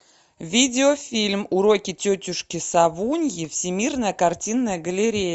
видеофильм уроки тетушки совуньи всемирная картинная галерея